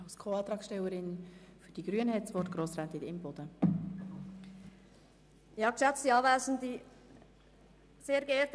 Als Co-Antragstellerin für die Grünen hat Grossrätin Imboden das Wort.